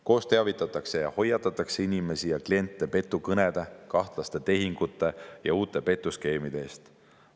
Koos teavitatakse ja hoiatatakse inimesi ja kliente petukõnede, kahtlaste tehingute ja uute petuskeemide eest.